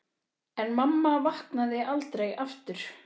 En mamma vaknaði aldrei aftur.